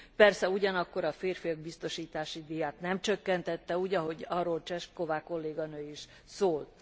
Persze ugyanakkor a férfiak biztosítási díját nem csökkentették, ahogy arról Češková kolléganő is szólt.